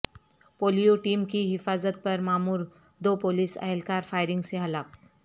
polio team کی حفاظت پر مامور دو پولیس اہلکار فائرنگ سے ہلاک